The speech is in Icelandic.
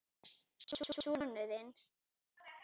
Sonur þinn.